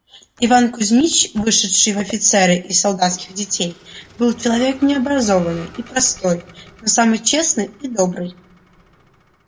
иван кузмич вышедший в офицеры из солдатских детей был человек необразованный и простой но самый честный и добрый